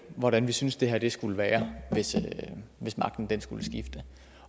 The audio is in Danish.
hvordan vi synes det her skulle være hvis hvis magten skulle skifte